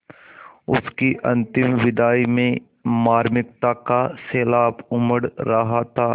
उसकी अंतिम विदाई में मार्मिकता का सैलाब उमड़ रहा था